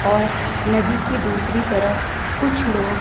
और नदी की दूसरी तरफ कुछ लोग--